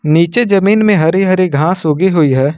नीचे जमीन में हरी हरी घास उगी हुई है।